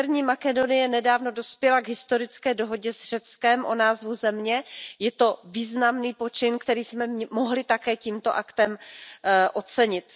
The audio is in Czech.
Severní Makedonie nedávno dospěla k historické dohodě s Řeckem o názvu země, je to významný počin, který jsme mohli také tímto aktem ocenit.